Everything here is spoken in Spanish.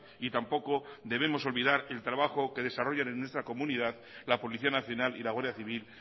y tampoco debemos olvidar el trabajo que desarrollan en nuestra comunidad la policía nacional y la guardia civil